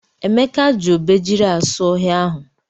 Emeka ji obejiri asụ ohia ahụ.